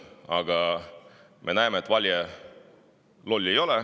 Aga me näeme, et valija ei ole loll.